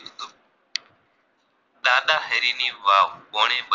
કોણેબ ની વાવ